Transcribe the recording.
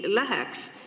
Praegu veel saab.